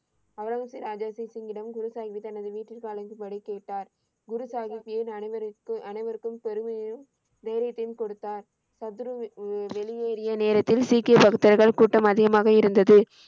அவுரங்கசிப், ராஜா ஜெய்சிங்கிடம் குரு சாஹீப் தனது வீட்டில் அழைக்கும்படி கேட்டார். குருசாஹீப் ஏன் அனைவருக்கு, அனைவருக்கும் பெருமையையும் தைரியத்தையும் குடுத்தார்? சத்துரு உம் வெளியேறிய நேரத்தில் சீக்கிய கூட்டம் அதிகமாக இருந்தது.